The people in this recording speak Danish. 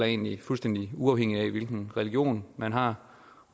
egentlig fuldstændig uafhængigt af hvilken religion man har